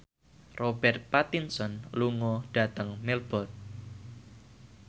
Robert Pattinson lunga dhateng Melbourne